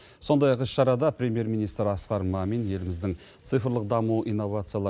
сондай ақ іс шарада премьер министр асқар мамин еліміздің цифрлық даму инновациялар